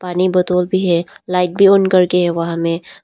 पानी बोतल भी है लाइट भी ऑन करके है वहां में--